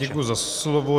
Děkuji za slovo.